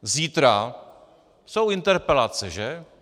Zítra jsou interpelace, že?